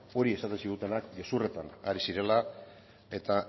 hori esaten zigutenak gezurretan ari zirela eta